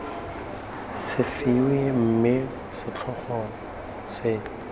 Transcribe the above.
se fiwe mme setlhogo se